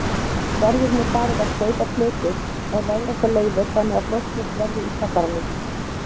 Verður nú farið að steypa plötur ef veðrátta leyfir þannig að frostlaust verði í kjallaranum.